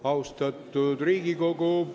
Austatud Riigikogu!